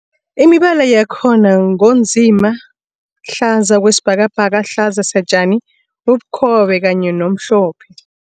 Imibala yakhona ngu nzima, hlaza okwesibhakabhaka, hlaza satjani, ubukhobe kanye nomhlophe.